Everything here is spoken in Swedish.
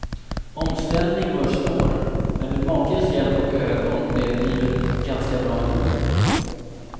Omställning var svår, men med makens hjälp och ögon blev livet ganska bra ändå.